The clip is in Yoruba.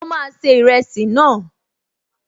Mo máa se ìrẹsì náà